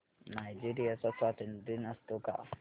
Nigeria चा स्वातंत्र्य दिन असतो का